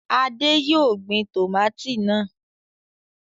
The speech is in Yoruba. Adé yóò gbin tòmátì náà.